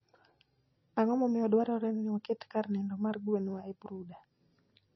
Ang'o momiyo dwarore ni waket kar nindo mar gwenwa e brooder?